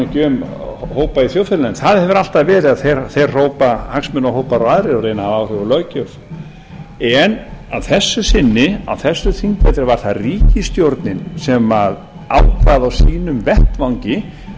tala ekki um hópa í þjóðfélaginu það hefur alltaf verið að þeir hrópa hagsmunahópar og aðrir og reyna að hafa áhrif á löggjöf en að þessu sinni á þessu þingi var það ríkisstjórnin sem ákvað á sínum vettvangi